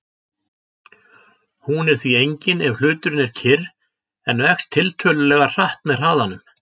Hún er því engin ef hluturinn er kyrr en vex tiltölulega hratt með hraðanum.